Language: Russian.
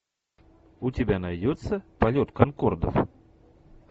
у тебя найдется полет конкордов